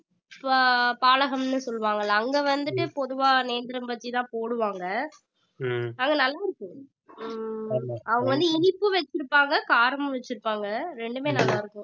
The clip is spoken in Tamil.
ஆஹ் பாலகம்னு சொல்வாங்கல்ல அங்க வந்துட்டு பொதுவா நேந்திரம் பஜ்ஜி தான் போடுவாங்க அங்க நல்ல இருக்கும் ஹம் அவங்க வந்து இனிப்பு வச்சிருப்பாங்க காரமும் வச்சிருப்பாங்க ரெண்டுமே நல்லா இருக்கும்